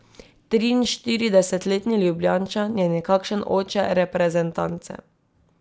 Triinštiridesetletni Ljubljančan je nekakšen oče reprezentance.